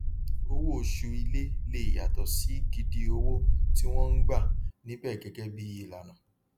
owó oṣù ilé le yàtọ sí gidi owó tí wọn ń gbà níbẹ gẹgẹ bí ìlànà